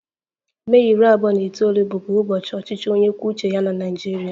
Mee iri abuo na itoolu bụbu ụbọchị ọchịchị onye kwuo uche ya na Naịjirịa